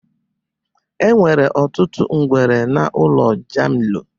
Enwere ọtụtụ ngwere na ụlọ jamilu.